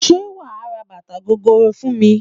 Ṣé wà á ra bàtà gogoro fún mi?